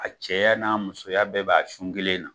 A cɛya n'a musoya bɛɛ b'a sun kelen na